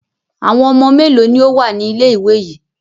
Àwọn ọmọ mélòó ni ó wà ní ilé-ìwé yìí?